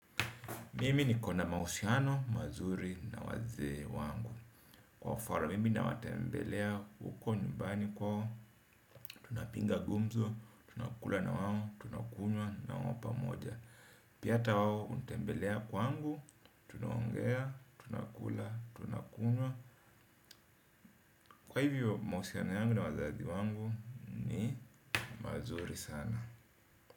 Mimi nikona mahusiano, mazuri na wazee wangu. Kwa mfano, mimi nawatembelea uko nyumbani kwao. Tunapinga gumzo, tunakula nawao, tunakunywa nawapa moja. Pia ata wao unitembelea kwangu. Tunaongea, tunakula, tunakunywa. Kwa hivyo, mahusiano yangu na wazazi wangu ni mazuri sana.